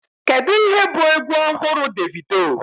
Kedu ihe bụ egwu ọhụrụ Davido?